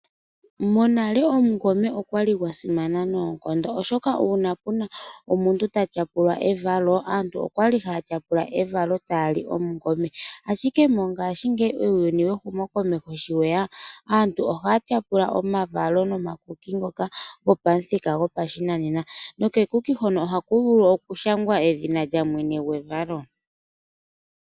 Monale omungome okwali gwasimaba noonkondo molwaashoka ngeke puna omuntu ta tyapula evalo okwali hatyapula evalo tali omungome. Mongashingeyi uuyuni wehumo komeho sho lyeya aantu ohaya tyapula taya li omakuki ngoka geli pamuthika gwoshinanena nohaku vul okushangwa edhina lyamwene gwevalo.